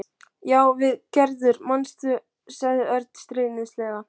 Já, við og Gerður, manstu? sagði Örn stríðnislega.